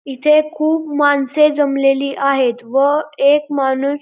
इथे खूप माणसें जमलेली आहेत व एक माणूस--